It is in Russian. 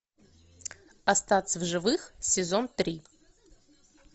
остаться в живых сезон три